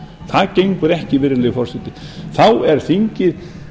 það gengur ekki virðulegi forseti þá er þingið